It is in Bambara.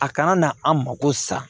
A kana na an mako sa